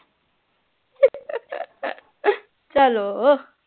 ਚਲੋ